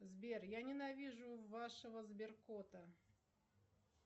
сбер я ненавижу вашего сберкота